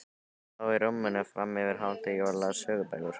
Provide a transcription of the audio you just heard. Hann lá í rúminu fram yfir hádegi og las sögubækur.